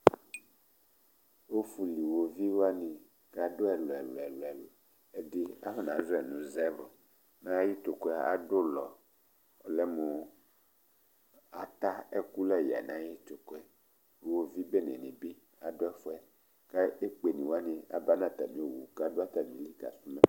Ɔfuli wovi wani kadu ɛlu ɛlu ɛlʋ ɛlʋ Ɛdí, afɔna zɔ yɛ nʋ zɛbru mɛ ayʋ itiku yɛ adulɔ Ɔlɛmu ata ɛku la ya nʋ ayʋ itʋku yɛ Ʋwovi bene ni bi adu ɛfʋɛ kʋ ekpe ni wani aba nʋ atami owu kʋ adu atami li kakɔsu ma